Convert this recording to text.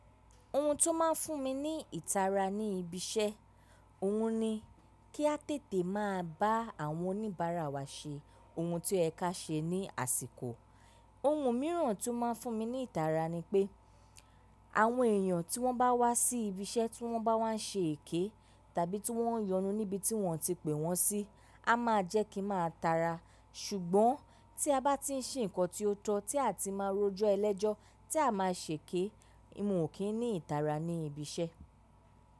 Ohun tó máa ń fún mi ní ìtara ní ibi ṣẹ́, òhun ni kí a tètè máa bá àwọn oníbàárà wa ṣe ohun tí o ye ká ṣe ní àsìkò. Ohun mìíràn tí ó máa ń fún mi ní ìtara ni pé, àwọn èèyàn tí wọ́n bá wá sí ibi iṣẹ́ tí wọ́n bá wá n ṣe èké tàbí tí wọ́n n yonú níbi tí wọ́n o ti pè wọ́n sí, a máa jẹ́ kí n máa tara. Ṣùgbọ́n tí a bá ti ń ṣe nǹkan tí ó tọ́, tí a ti máa ń rojọ́ ẹlẹ́jọ́, tí a máa ṣèké, mi ò kí ń ní ìtara ní ibi iṣẹ́.